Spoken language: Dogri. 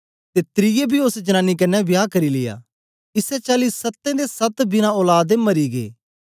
ते त्रिऐ बी ओस जनानी कन्ने बियाह करी लिया इसै चाली सत्तें दे सत्त बिना औलाद दे मरी गै